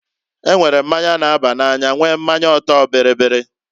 E nwere mmanya na-aba n'anya nwee mmanya ọtọ-bịrịbịrị.